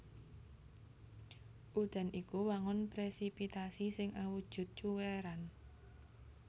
Udan iku wangun presipitasi sing awujud cuwèran